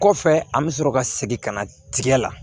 Kɔfɛ an bɛ sɔrɔ ka segin ka na tigɛ la